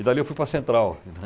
E dali eu fui para a central. Tá